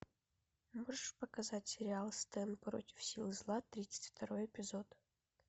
можешь показать сериал стэн против сил зла тридцать второй эпизод